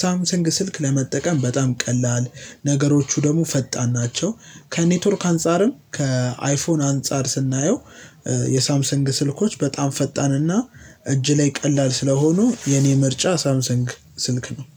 ሳምሰንግ ስልክ ለመጠቀም በጣም ቀላል ነገሮቹ ደግሞ ፈጣን ናቸው። ከኔትወርክ አንፃርም ከአይፎን አንፃር ስናየው። የሳምሰንግ ስልኮች በጣም ፈጣንና እጅ ላይ ቀላል ስለሆኑ የኔ ምርጫ ሳምሰንግ ስልክ ነው